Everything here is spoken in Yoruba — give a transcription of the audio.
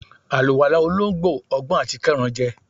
àlúwalá olońgbo, ogbọn atí kerán je